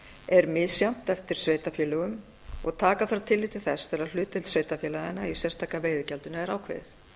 er misjafnt eftir sveitarfélögum og taka þarf tillit til þess þegar hlutdeild sveitarfélaganna í sérstaka veiðigjaldinu er ákveðið